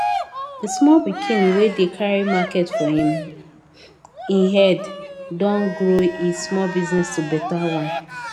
de small pikin wey dey carry market for in um e head don grow e small business to better one